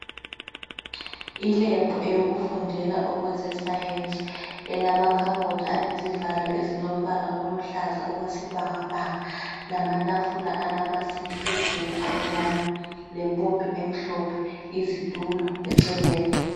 Ilebhu eyokufundela eze science zilamakhabothi alezivalo ezilombala oluhlaza okwesibhakabhaka lamatafula alamasinki phezulu amnyama lempompi emhlophe izitulo eceleni